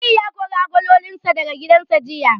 Aliyu ya kori agololinsa daga gidansa jiya.